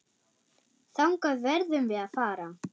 Þangað verðum við að fara.